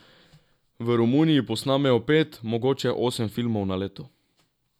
V Romuniji posnamejo pet, mogoče osem filmov na leto.